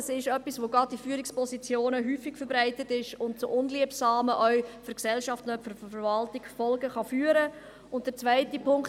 Das ist etwas, das gerade in Führungspositionen verbreitet ist und auch zu unliebsamen Folgen führen kann, nicht nur für die Verwaltung, sondern auch für die Gesellschaft.